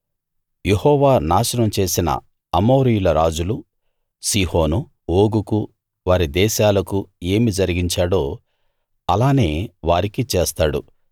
యెహోవా నాశనం చేసిన అమోరీయుల రాజులు సీహోను ఓగుకూ వారి దేశాలకూ ఏమి జరిగించాడో అలానే వారికీ చేస్తాడు